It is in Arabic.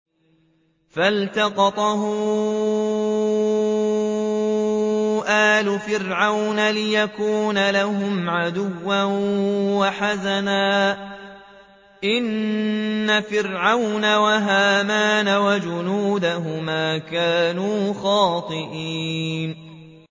فَالْتَقَطَهُ آلُ فِرْعَوْنَ لِيَكُونَ لَهُمْ عَدُوًّا وَحَزَنًا ۗ إِنَّ فِرْعَوْنَ وَهَامَانَ وَجُنُودَهُمَا كَانُوا خَاطِئِينَ